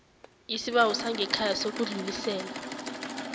isibawo sangekhaya sokudlulisela